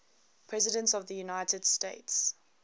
presidents of the united states